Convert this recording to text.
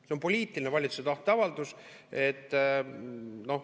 See on valitsuse poliitiline tahteavaldus.